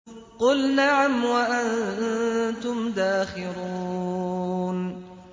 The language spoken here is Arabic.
قُلْ نَعَمْ وَأَنتُمْ دَاخِرُونَ